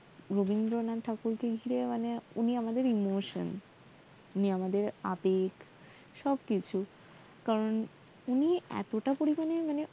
রাবিন্দ্রনাথ ঠাকুর উনি আমাদের emotion উনি আমাদের আবেগ সবকিছুই করান উনি এতটা পরিমানে ্মানে